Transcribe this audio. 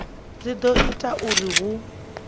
dzi do ita uri hu